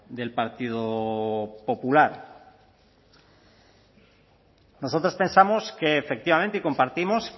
del partido popular nosotros pensamos que efectivamente compartimos